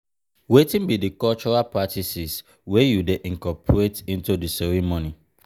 i dey handle am by communicating openly set clear boundaries and prioritize our needs.